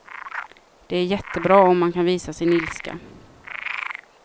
Det är jättebra om man kan visa sin ilska.